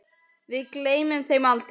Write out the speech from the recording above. Við gleymum þeim aldrei.